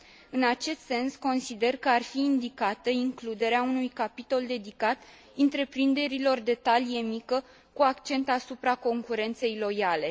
În acest sens, consider că ar fi indicată includerea unui capitol dedicat întreprinderilor de talie mică, cu accent asupra concurenței loiale.